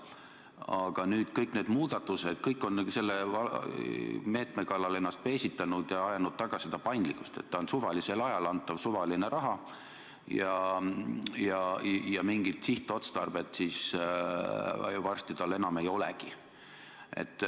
Aga nüüd on kõik selle meetme kallal ennast peesitanud ja ajanud taga seda paindlikkust, et ta on suvalisel ajal antav suvaline raha ja mingit sihtotstarvet tal enam ei olegi.